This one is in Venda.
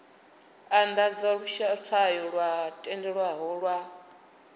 andadza luswayo lwo tendelwaho lwa